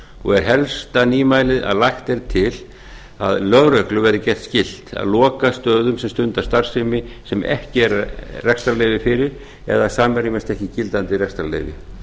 og er helsta nýmælið að lagt er til að lögreglu verði gert skylt að loka stöðum sem stunda starfsemi sem ekki er rekstrarleyfi fyrir eða samrýmast ekki gildandi rekstrarleyfi